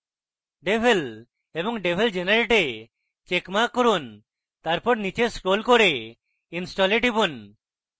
devel এবং devel generate a checkmark করুন তারপর নীচে scroll করে install a টিপুন